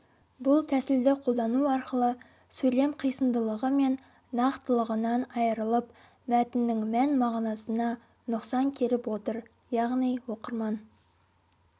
бұл тәсілді қолдану арқылы сөйлем қисындылығы мен нақтылығынан айрылып мәтіннің мән-мағынасына нұқсан келіп отыр яғни оқырман